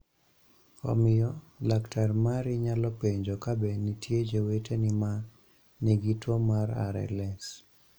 Omiyo, laktar mari nyalo penjo ka be nitie joweteni ma nigi tuo mar RLS.